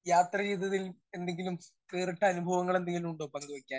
Speaker 1 യാത്ര ചെയ്തതിൽ എന്തെങ്കിലും വേറിട്ട അനുഭവങ്ങൾ എന്തെങ്കിലും ഉണ്ടോ പങ്കുവെക്കാൻ?